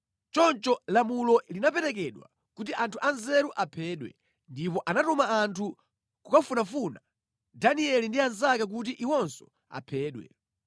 Choncho lamulo linaperekedwa kuti anthu anzeru aphedwe, ndipo anatuma anthu kukafunafuna Danieli ndi anzake kuti iwonso aphedwe.